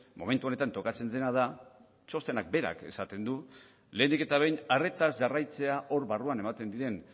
momentu honetan tokatzen dena da txostenak berak esaten du lehenik eta behin arretaz jarraitzea hor barruan ematen diren